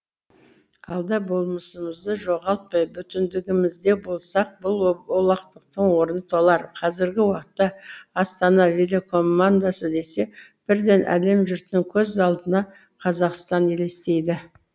алда болмысымызды жоғалтпай бүтіндігімізде болсақ бұл олақлықтың орны толар қазіргі уақытта астана велокомандасы десе бірден әлем жұртының көз алдына қазақстан елестейді